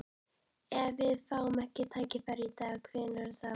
Ef við fáum ekki tækifærið í dag, hvenær þá?